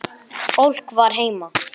Fólk var heima.